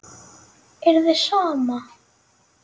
Er þér sama?